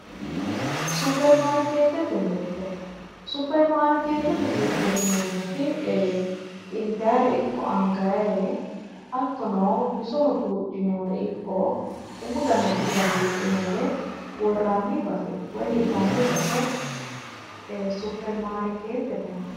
superimarikeetete mirte superimarikeetete mirteeti yineemmoti ee intayre ikko angayre hattono bisoho buudhinayre umu dananchira buudhinayre worranni base woy hirranni base ee superimaarikeetete yinanni